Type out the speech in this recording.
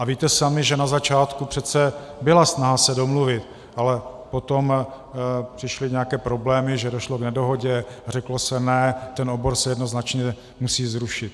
A víte sami, že na začátku přece byla snaha se domluvit, ale potom přišly nějaké problémy, že došlo k nedohodě, řeklo se ne, ten obor se jednoznačně musí zrušit.